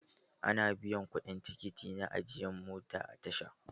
Ana biyan kuɗin tikiti na ajiyan mota a tasha.